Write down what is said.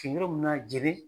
yɔrɔ min na jeli